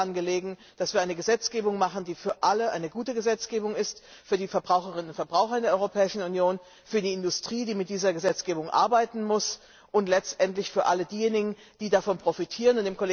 Denn mir ist daran gelegen, dass wir eine Gesetzgebung machen, die für alle eine gute Gesetzgebung ist, für die Verbraucherinnen und Verbraucher in der Europäischen Union, für die Industrie, die mit dieser Gesetzgebung arbeiten muss, und letztendlich für alle diejenigen, die davon profitieren.